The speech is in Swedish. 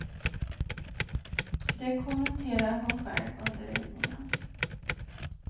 Det kommenterar hon själv under ridningen.